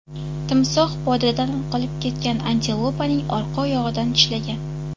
Timsoh podadan qolib ketgan antilopaning orqa oyog‘idan tishlagan.